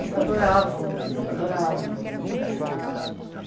Eles adoravam o Danilo, adoravam o Danilo.